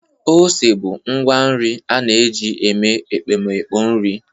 Ose bụ ngwa nri a na-eji eme ekpomeekpo nri.